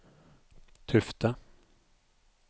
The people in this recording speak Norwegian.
Tufte